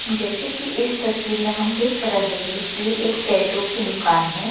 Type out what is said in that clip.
जैसे कि इस तस्वीर में हम देख रहे हैं कि एक टैटू की दुकान है।